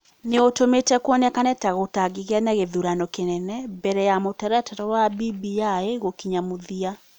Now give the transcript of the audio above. nĩ ũtũmĩte kuoneke ta gũtangĩgĩa na gĩthurano kĩnene mbere ya mũtaratara wa BBI gũkinya mũthia.